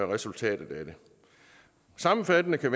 resultatet af det sammenfattende kan